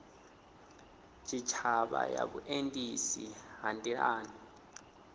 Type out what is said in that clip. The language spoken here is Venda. tshitshavha ya vhuendisi ha nḓilani